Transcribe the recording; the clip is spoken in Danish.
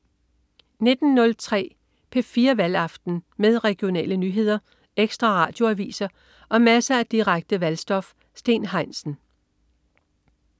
19.03 P4 Valgaften. Med regionale nyheder, ekstra Radioaviser og masser af direkte valgstof. Steen Heinsen